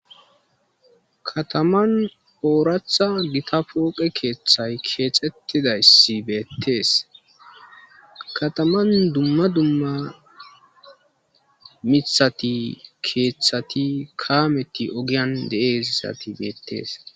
Kataman gita poqe kethsy kexetidays betes .bkataman dumma dumma mithat,kethat, kamet ogiyan de'iyaysat betes.